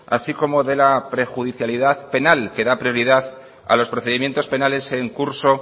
así como de la prejudicialidad penal que da prioridad a los procedimientos penales en curso